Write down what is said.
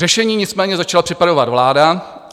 Řešení nicméně začala připravovat vláda.